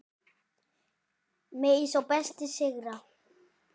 Megi sá besti sigra.